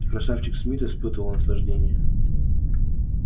красавчик смит испытывал наслаждение